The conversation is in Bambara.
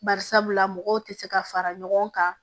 Bari sabula mɔgɔw tɛ se ka fara ɲɔgɔn kan